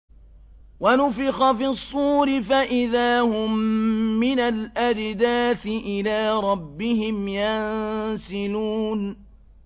وَنُفِخَ فِي الصُّورِ فَإِذَا هُم مِّنَ الْأَجْدَاثِ إِلَىٰ رَبِّهِمْ يَنسِلُونَ